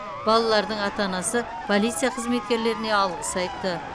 балалардың ата анасы полиция қызметкерлеріне алғыс айтты